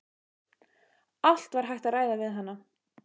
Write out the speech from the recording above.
Allt var hægt að ræða við hana.